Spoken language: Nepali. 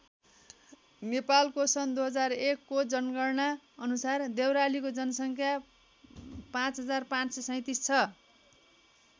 नेपालको सन् २००१ को जनगणना अनुसार देउरालीको जनसङ्ख्या ५५३७ छ।